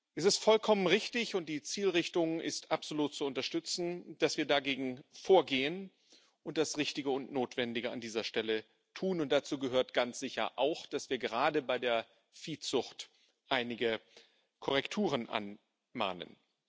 Es ist vollkommen richtig und die Zielrichtung ist absolut zu unterstützen, dass wir dagegen vorgehen und das Richtige und Notwendige an dieser Stelle tun, und dazu gehört ganz sicher auch, dass wir gerade bei der Viehzucht einige Korrekturen anmahnen.